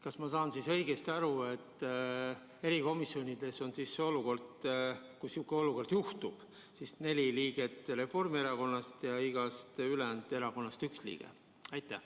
Kas ma saan õigesti aru, et kui niisugune olukord juhtub, siis on erikomisjonides neli liiget Reformierakonnast ja igast ülejäänud erakonnast üks liige?